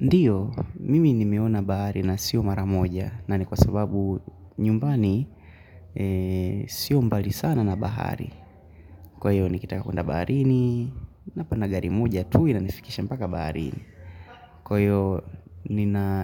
Ndiyo, mimi nimeona bahari na sio maramoja na ni kwa sababu nyumbani sio mbali sana na bahari. Kwayo nikitaka kwenda baharini, napana gari moja tui na nifikisha mpaka baharini. Kwa hiyo